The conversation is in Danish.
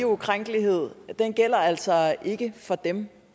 ukrænkelighed altså ikke for dem